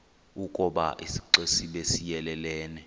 ukoba isixesibe siyelelene